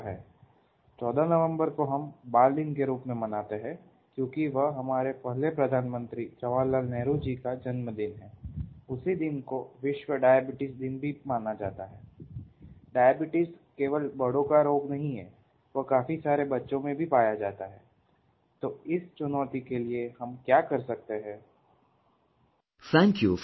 Thank you for your phone call